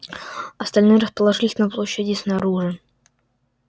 остальные расположились на площади снаружи